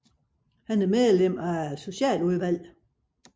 Han er nu medlem af Socialudvalget